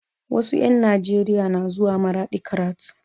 Wasu 'yan Nijeriya na zuwa maradi karatu